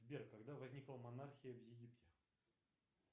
сбер когда возникла монархия в египте